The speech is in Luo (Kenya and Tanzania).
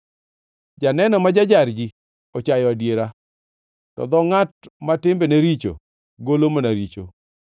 Janeno ma ja-jar ji ochayo adiera, to dho ngʼat ma timbene richo golo mana richo.